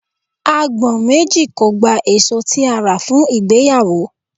Agbọ̀n méjì kò gba èso tí a rà fún ìgbéyàwó.